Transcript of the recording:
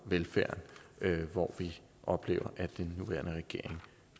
velfærden hvor vi oplever at den nuværende regering